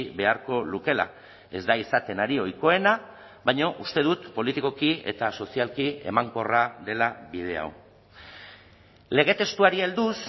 beharko lukeela ez da izaten ari ohikoena baina uste dut politikoki eta sozialki emankorra dela bide hau lege testuari helduz